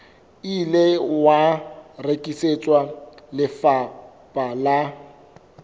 ile wa rekisetswa lefapha la